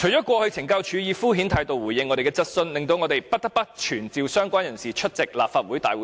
過去懲教署以敷衍態度回應我們的質詢，令我們不得不傳召相關人士出席立法會會議。